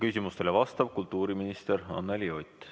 Küsimustele vastab kultuuriminister Anneli Ott.